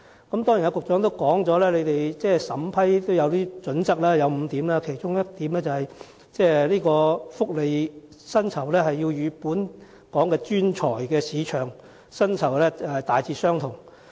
當然，局長剛才亦表示審批相關申請有5項準則，其中一項是薪酬福利須與當時本港專才的市場薪酬福利大致相同。